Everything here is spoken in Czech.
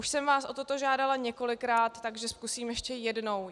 Už jsem vás o toto žádala několikrát, takže zkusím ještě jednou.